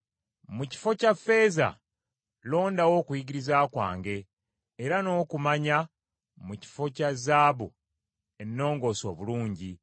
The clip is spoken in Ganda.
Mu kifo kya ffeeza, londawo okuyigiriza kwange, era n’okumanya mu kifo kya zaabu ennongoose obulungi,